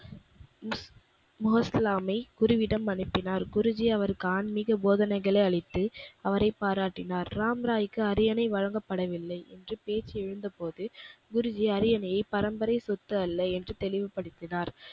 முகஸ்லாமை குருவிடம் அனுப்பினார். குருஜி அவருக்கு ஆன்மீக போதனைகளை அளித்து அவரை பாராட்டினார். ராம்ராய்க்கு அரியணை வழங்கப்படவில்லை என்று பேச்சு எழுந்த போது, குருஜி அரியணையை பரம்பரை சொத்து அல்ல என்று தெளிவுபடுத்தினார்.